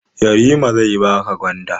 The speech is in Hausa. Yarima zai baka gwanda.